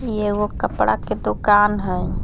ई एगो कपड़ा के दुकान हई।